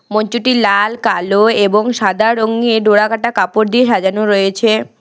মঞ্চটি লাল কালো এবং সাদা রঙের ডোরাকাটা কাপড় দিয়ে সাজানো রয়েছে।